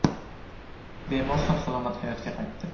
Bemor sog‘-salomat hayotga qaytdi.